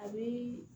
A bi